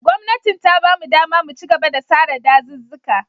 Gwamnatin ta ba mu ɗama mu chigaba da sare ɗazuzzuka.